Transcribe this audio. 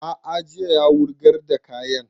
A'a jiya ya wurgar da kayan